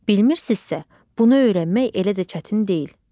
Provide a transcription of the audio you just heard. Bilmirsinizsə, bunu öyrənmək elə də çətin deyil.